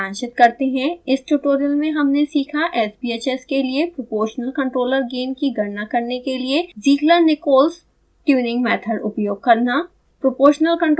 अब इसे सारांशित करते हैं इस ट्यूटोरियल में हमने सीखा sbhs के लिए proportional controller gain की गणना करने के लिए zieglernichols ट्यूनिंग मेथड उपयोग करना